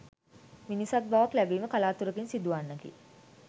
මිනිසත් බවක් ලැබීම කලාතුරකින් සිදුවන්නකි.